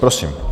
Prosím.